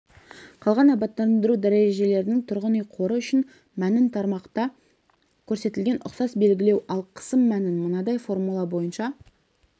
қалған абаттандыру дәрежелерінің тұрғын үй қоры үшін мәнін тармақта көрсетілген ұқсас белгілеу ал қысым мәнін мынадай формула бойынша